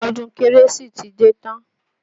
Ọdún kérésì ti dé tán